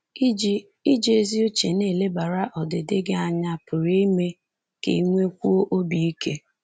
Iji Iji ezi uche na-elebara ọdịdị gị anya pụrụ ime ka i nwekwuo obi ike.